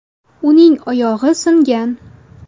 Uning oyog‘i singan.